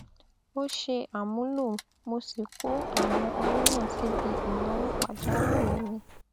ò ṣe àmúlò mo sì kó àwọn owó náà síbi ìnáwó pàjáwìrì mi